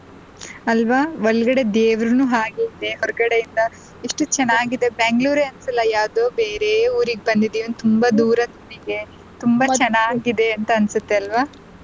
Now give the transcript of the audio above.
ಅಲ್ವಾ ಒಳಗಡೆ ದೇವರ್ನು ಹಾಗೆ ಇದೆ ಹೊರಗಡೆ ಇಂದ ಎಷ್ಟು ಚೆನ್ನಾಗಿದೆ Bangalore ಎ ಅಲ್ಲ ಯಾವ್ದೋ ಬೇರೆ ಊರಿಗೆ ಬಂದ್ದ್ವಿ ತುಂಬಾ ದೂರದ್ ಊರಿಗೆ ತುಂಬಾ ಚೆನ್ನಾಗಿದೆ ಅಂತ ಅನ್ಸುತ್ತೆ ಅಲ್ವಾ.